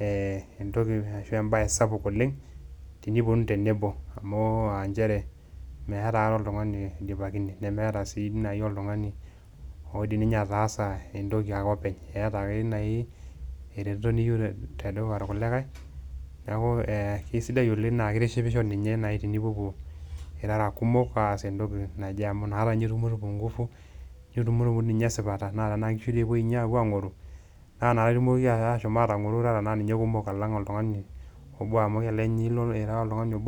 ee entoki ashu embaye sapuk oleng' teniponunu tenebo amu aa njere meeta aikata oltung'ani oidipakine nemeeta sii nai oltung'ani odim ninye ataasa entoki aa kopeny eeta ake nai ereteto niyiu tedukuya irkulikai. Neeku ee kesidai oleng' naake itishipisho ninye nai tenipopou irara kumok aas entoki naje amu inakata nye itumutumu nguvu, nitumutumu ninye esipata naa tenaa nkishu tee epui ninye aang'oru naa inakata itumokiki asho aatang'oru irara naa ninye kumok alang' oltung'ani obo amu kelelek nye ilo ira oltung'ani obo